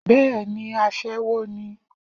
Bẹ́ẹ̀ni aṣẹ́wó ni